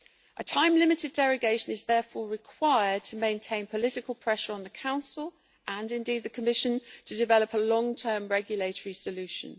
A time-limited derogation is therefore required to maintain political pressure on the Council, and indeed the Commission, to develop a long-term regulatory solution.